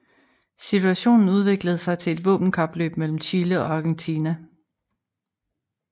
Situationen udviklede sig til et våbenkapløb mellem Chile og Argentina